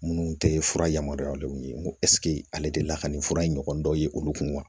Minnu tɛ fura yamaruyalen ye n ko ale delila ka nin fura in ɲɔgɔn dɔ ye olu kun wa